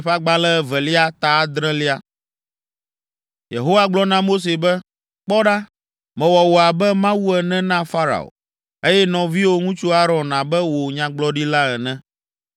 Yehowa gblɔ na Mose be, “Kpɔ ɖa, mewɔ wò abe Mawu ene na Farao, eye nɔviwò ŋutsu Aron abe wò nyagblɔɖila ene.